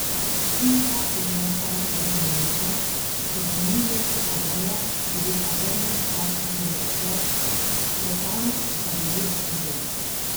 Hiša je bila zdaj ledeno mrzla, čez ženiljasto odejo je bil pogrnjen star karirast plet, pretanek, da bi res grel.